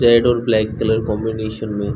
red और black colour combination में --